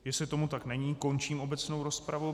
Jestli tomu tak není, končím obecnou rozpravu.